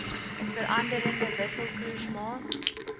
veranderende wisselkoers maak